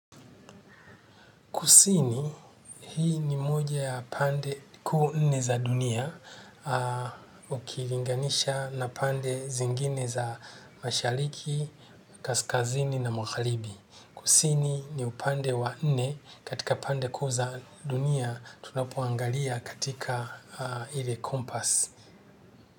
Kusini, hii ni moja ya pande kuu nne za dunia ukilinganisha na pande zingine za mashariki, kaskazini na magharibi. Kusini, ni upande wa nne katika pande kuu za dunia tunapoangalia katika ile compass.